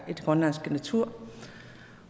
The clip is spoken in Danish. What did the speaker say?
den grønlandske natur